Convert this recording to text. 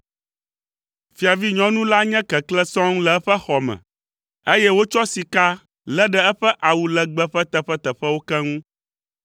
Fiavinyɔnu la nye keklẽ sɔŋ le eƒe xɔ me; eye wotsɔ sika lé ɖe eƒe awu legbe ƒe teƒeteƒewo keŋ.